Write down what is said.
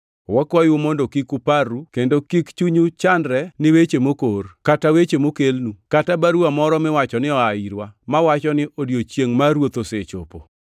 wakwayou mondo kik uparru kendo kik chunyu chandre ni weche mokor, kata weche mokelnu, kata baruwa moro miwacho ni oa irwa, mawacho ni odiechiengʼ mar Ruoth osechopo.